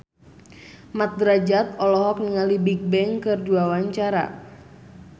Mat Drajat olohok ningali Bigbang keur diwawancara